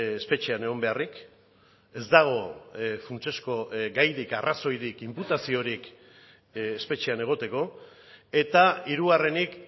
espetxean egon beharrik ez dago funtsezko gairik arrazoirik inputaziorik espetxean egoteko eta hirugarrenik